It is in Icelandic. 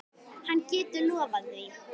Hann getur lofað því.